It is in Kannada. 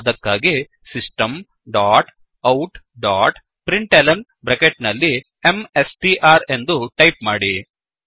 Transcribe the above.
ಅದಕ್ಕಾಗಿ system dot out dot println bracket ನಲ್ಲಿ ಎಂಎಸ್ಟಿಆರ್ ಎಂದು ಟೈಪ್ ಮಾಡಿ